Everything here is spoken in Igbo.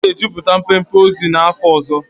M ga-ejupụta mpempe akwụkwọ ozi n'afọ ọzọ.